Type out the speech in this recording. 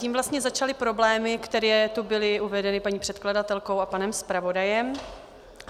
Tím vlastně začaly problémy, které tu byly uvedeny paní předkladatelkou a panem zpravodajem.